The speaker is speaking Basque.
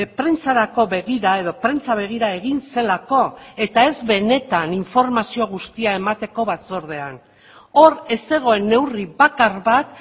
prentsarako begira edo prentsa begira egin zelako eta ez benetan informazio guztia emateko batzordean hor ez zegoen neurri bakar bat